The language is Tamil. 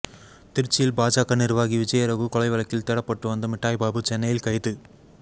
திருச்சியில் பாஜக நிர்வாகி விஜயரகு கொலை வழக்கில் தேடப்பட்டு வந்த மிட்டாய் பாபு சென்னையில் கைது